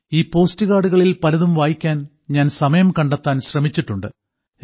ഈ പോസ്റ്റ് കാർഡുകളിൽ പലതും വായിക്കാൻ ഞാൻ സമയം കണ്ടെത്താൻ ശ്രമിച്ചിട്ടുണ്ട്